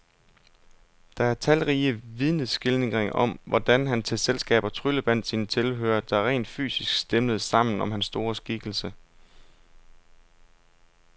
Der er talrige vidneskildringer om, hvordan han til selskaber tryllebandt sine tilhørere, der rent fysisk stimlede sammen om hans store skikkelse.